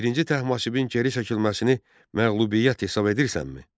Birinci Təhmasibin geri çəkilməsini məğlubiyyət hesab edirsənmi?